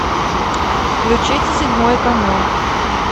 включите седьмой канал